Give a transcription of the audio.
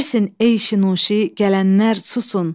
Kəsin ey şinüşi, gələnlər susun.